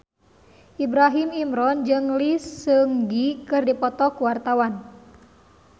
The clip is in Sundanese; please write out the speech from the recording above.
Ibrahim Imran jeung Lee Seung Gi keur dipoto ku wartawan